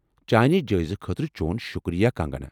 چانہِ جٲیزٕ خٲطرٕ چون شُکریہ کانگہ نا ۔